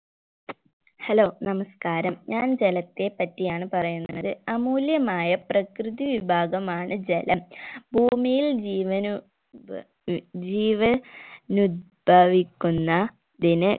hello നമസ്കാരം ഞാൻ ജലത്തെ പറ്റിയാണ് പറയുന്നത് അമൂല്യമായ പ്രകൃതി വിഭാഗമാണ് ജലം ഭൂമിയിൽ ജീവനു ജീവൻ ഉത്ഭവിക്കുന്ന തിന്